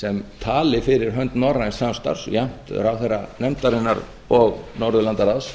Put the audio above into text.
sem tali fyrir hönd norræns samstarfs jafnt ráðherra nefndarinnar og norðurlandaráðs